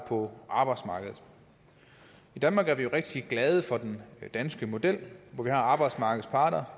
på arbejdsmarkedet i danmark er vi rigtig glade for den danske model hvor arbejdsmarkedets parter